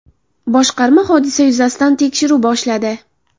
Boshqarma hodisa yuzasidan tekshiruv boshladi.